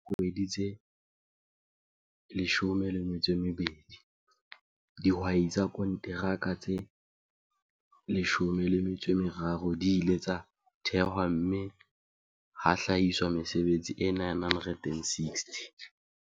Ka feela dikgwedi tse 12, dihwai tsa konteraka tse 13 di ile tsa thehwa mme ha hlahiswa mesebetsi e 960.